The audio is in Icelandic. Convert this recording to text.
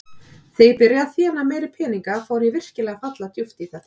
Þegar ég byrjaði að þéna meiri peninga fór ég virkilega að falla djúpt í þetta.